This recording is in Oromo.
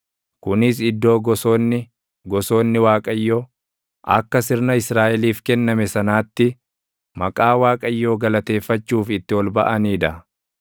Kunis iddoo gosoonni, gosoonni Waaqayyo, akka sirna Israaʼeliif kenname sanaatti, maqaa Waaqayyoo galateeffachuuf itti ol baʼanii dha.